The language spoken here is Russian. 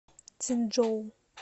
цинчжоу